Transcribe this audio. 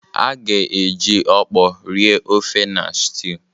A ga-eji Okpor rie ofe na stew.